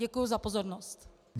Děkuji za pozornost.